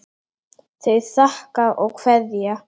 Þau þakka og kveðja.